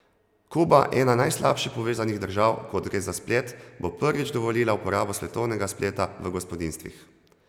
Kuba, ena najslabše povezanih držav, ko gre za splet, bo prvič dovolila uporabo svetovnega spleta v gospodinjstvih.